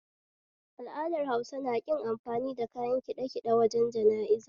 Al'adar Hausa naƙin amfani da kayan ƙiɗaƙiɗe wajen jana'iza